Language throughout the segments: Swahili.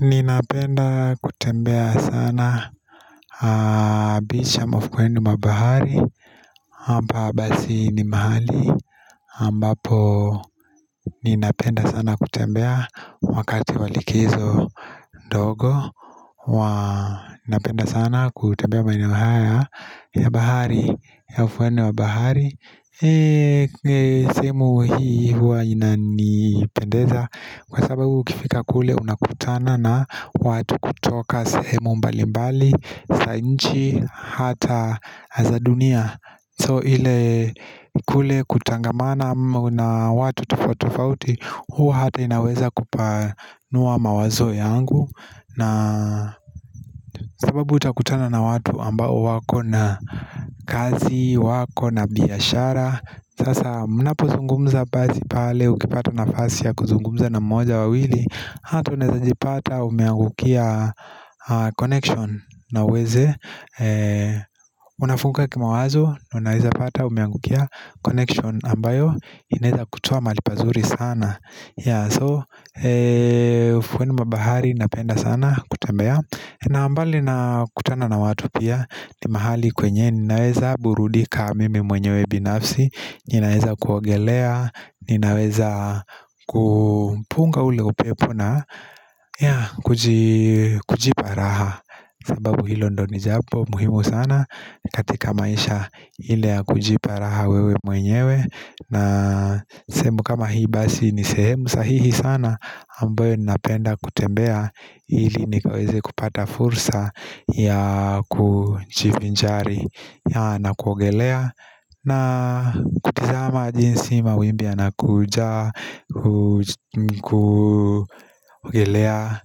Ninapenda kutembea sana Bisham of Kwendu mabahari hapa basi ni mahali ambapo ninapenda sana kutembea Wakati wa likizo dogo Ninapenda sana kutembea maeneo haya ya bahari, ya ufuoni wa bahari sehemu hii huwa inanipendeza Kwa sababu ukifika kule unakutana na watu kutoka sehemu mbali mbali za nchi hata za dunia So ile kule kutangamana na watu tofauti tofauti huwa hata inaweza kupanua mawazo yangu na sababu utakutana na watu ambao wako na kazi wako na biashara Sasa mnapozungumza basi pale ukipata nafasi ya kuzungumza na mmoja wawili Hata unezajipata umeangukia connection na uweze Unafunguka kimawazo, unaweza pata umeangukia connection ambayo inaweza kutoa mahali pazuri sana So, ufuoni wa bahari napenda sana kutembea na mbali nakutana na watu pia ni mahali kwenye ninaweza burudika mimi mwenye binafsi Ninaweza kuogelea, ninaweza kupunga ule upepo na kujipa raha sababu hilo ndiyo ni jambo muhimu sana katika maisha ile ya kujipa raha wewe mwenyewe na sehemu kama hii basi ni sehemu sahihi sana ambayo ninapenda kutembea ili nikaweze kupata fursa ya kujivinjari na kuogelea na kutazama jinsi mawimbi yanakuja kuogelea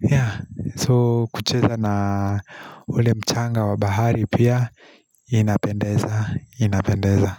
yah So kucheza na ule mchanga wa bahari pia inapendeza inapendeza.